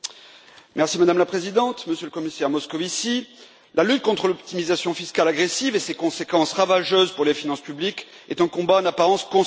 Madame la Présidente, Monsieur le Commissaire Moscovici, la lutte contre l'optimisation fiscale agressive et ses conséquences ravageuses pour les finances publiques est donc un combat en apparence consensuel.